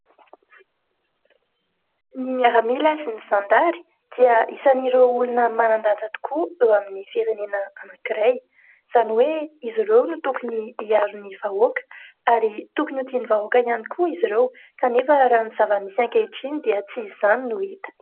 Ny miaramila sy ny zandary dia isan'ireo olona manandanja tokoa eo amin'ny firenena anankiray, izany hoe izy ireo no tokony hiaro ny vahoaka ary tokony ho tian'ny vahoaka ihany koa izy ireo. Kanefa raha ny zava-misy ankehitriny dia tsy izany no hita.